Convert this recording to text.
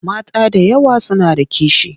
Mata da yawa suna da kishi.